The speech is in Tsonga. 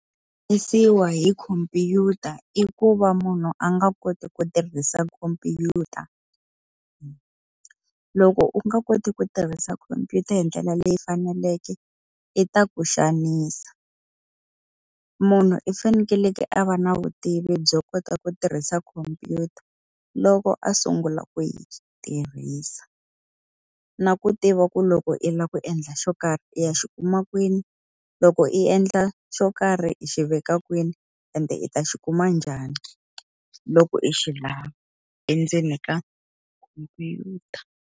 Hi khomphyuta i ku va munhu a nga koti ku tirhisa khomphyuta. Loko u nga koti ku tirhisa khomphyuta hi ndlela leyi faneleke, yi ta ku xanisa. Munhu i fanekele a va na vutivi byo kota ku tirhisa khomphyuta loko a sungula ku yi tirhisa. Na ku tiva ku loko i lava ku endla xo karhi i ya xi kuma kwini, loko i endla xo karhi i xi veka kwini ende i ta xi kuma njhani loko i xi lava endzeni ka khomphyuta.